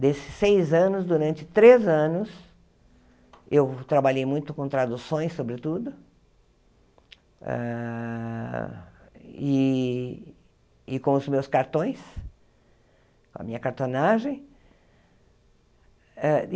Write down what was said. Desses seis anos, durante três anos, eu trabalhei muito com traduções, sobretudo ah, e e com os meus cartões, com a minha cartonagem. Ah e